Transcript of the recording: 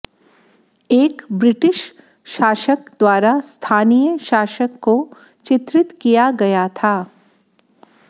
एक ब्रिटिश शासक द्वारा स्थानीय शासक को चित्रित किया गया था